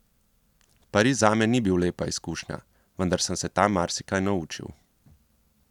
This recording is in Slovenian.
Pariz zame ni bil lepa izkušnja, vendar sem se tam marsikaj naučil.